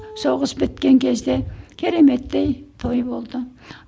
соғыс біткен кезде кереметтей той болды